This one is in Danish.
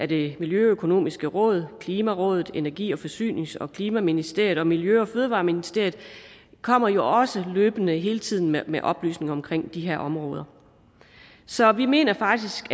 det miljøøkonomiske råd klimarådet energi forsynings og klimaministeriet og miljø og fødevareministeriet de kommer jo også løbende hele tiden med oplysninger om de her områder så vi mener faktisk